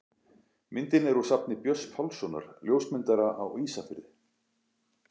Myndin er úr safni Björns Pálssonar, ljósmyndara á Ísafirði.